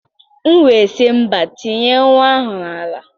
M wee sị mba, tinye nwa ahụ n'ala.